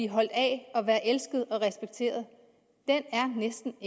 holdt af og være elsket og respekteret næsten